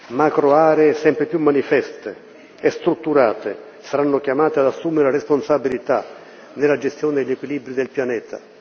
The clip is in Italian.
Macro aree sempre più manifeste e strutturate saranno chiamate ad assumere la responsabilità nella gestione degli equilibri del pianeta.